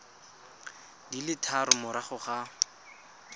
di le tharo morago ga